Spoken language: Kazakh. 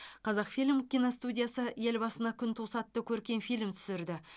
қазақфильм киностудиясы ел басына күн туса атты көркем фильм түсірді